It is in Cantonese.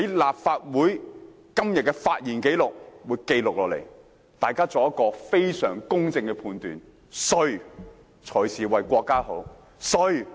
立法會今天的發言紀錄會記錄下來，大家可以作出非常公正的判斷，誰才是為國家好，誰才是為香港好。